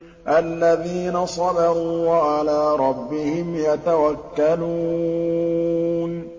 الَّذِينَ صَبَرُوا وَعَلَىٰ رَبِّهِمْ يَتَوَكَّلُونَ